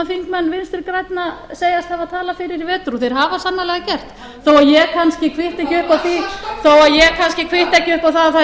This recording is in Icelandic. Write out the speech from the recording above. þingmenn vinstri grænna segjast hafa talað eftir í vetur og þeir hafa sannarlega gert þó að ég kannski kvitta ekki